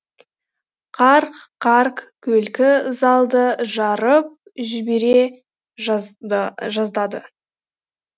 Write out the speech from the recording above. қарқ қарқ күлкі залды жарып жібере жаздады